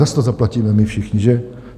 Zas to zaplatíme my všichni, že?